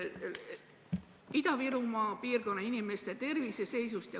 Ida-Virumaa piirkonna inimeste tervise seisust.